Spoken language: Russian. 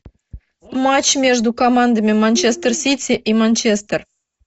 матч между командами манчестер сити и манчестер